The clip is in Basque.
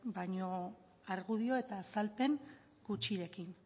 baina argudio eta azalpen gutxirekin